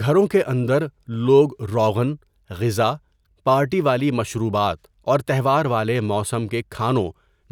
گھروں کے اندر لوگ روغن، غذا، پارٹی والی مشروبات اور تہوار والے موسم کے کھانوں